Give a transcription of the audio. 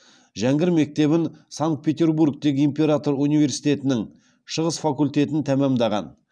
жәңгір мектебін санкт петербургтегі император университетінің шығыс факультетін тәмамдаған